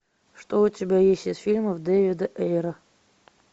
что у тебя есть из фильмов дэвида эйра